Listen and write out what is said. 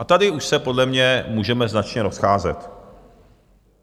A tady už se podle mě můžeme značně rozcházet.